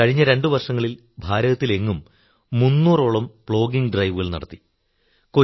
കഴിഞ്ഞ രണ്ടുവർഷങ്ങളിൽ ഭാരതത്തിലെങ്ങും മൂന്നൂറോളം പ്ലോഗിംഗ് ഡ്രൈവുകൾ നടത്തി